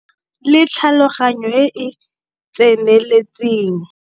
NNA LE TLHALOGANYO E E TSENELETSENG.